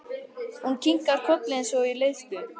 Hún kinkar kolli eins og í leiðslu.